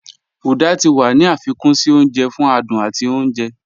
Uda tí wà ní afikún sí ọ̀nje fún àdùn àti ọ̀nje